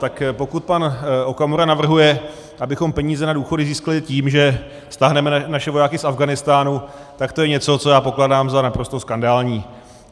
Tak pokud pan Okamura navrhuje, abychom peníze na důchody získali tím, že stáhneme naše vojáky z Afghánistánu, tak to je něco, co já pokládám za naprosto skandální.